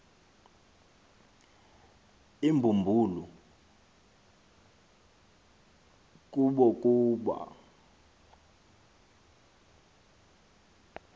imbumbulu kubo kuba